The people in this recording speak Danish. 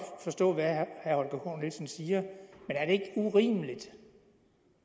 forstå hvad herre holger k nielsen siger men er det ikke urimeligt